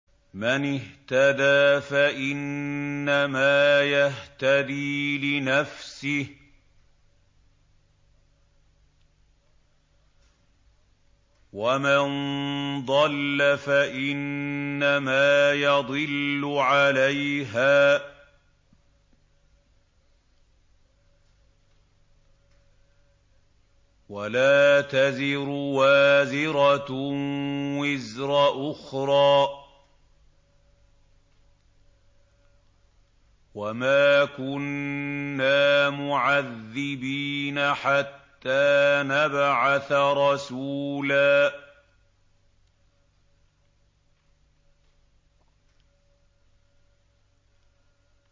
مَّنِ اهْتَدَىٰ فَإِنَّمَا يَهْتَدِي لِنَفْسِهِ ۖ وَمَن ضَلَّ فَإِنَّمَا يَضِلُّ عَلَيْهَا ۚ وَلَا تَزِرُ وَازِرَةٌ وِزْرَ أُخْرَىٰ ۗ وَمَا كُنَّا مُعَذِّبِينَ حَتَّىٰ نَبْعَثَ رَسُولًا